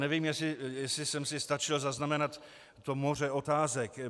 Nevím, jestli jsem si stačil zaznamenat to moře otázek.